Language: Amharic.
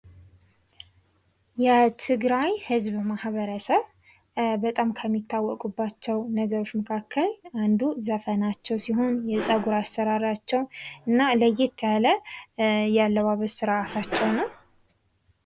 የትግራይ ህዝብ ማኅበረሰብ በጣም ከሚታወቁባቸው ነገሮች መካከል አንዱ ዘፈናቸው ሲሆን የፀጉር አሰራራቸው እና ለየት ያለ የአለባበስ ስርአታቸው ነው ።